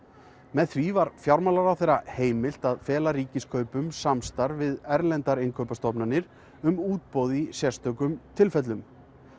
með því var fjármálaráðherra heimilt að fela Ríkiskaupum samstarf við erlendar innkaupastofnanir um útboð í sérstökum tilfellum